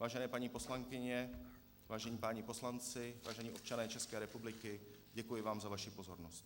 Vážené paní poslankyně, vážení páni poslanci, vážení občané České republiky, děkuji vám za vaši pozornost.